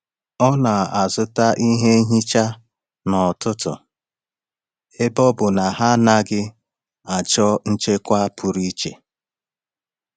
Ọ na-azụta ihe nhicha n’ọtụtù ebe ọ bụ na ha anaghị achọ nchekwa pụrụ iche.